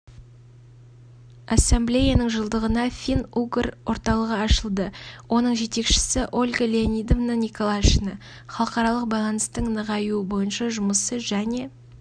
ассамблеяның жылдығына фин-угор орталығы ашылды оның жетекшісі ольга леонидовна николашина халықаралық байланыстың нығайуы бойынша жұмысы және